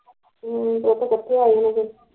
ਹਮ ਉੱਥੇ ਕੱਠੇ ਹੋਏ ਹੁਣੇ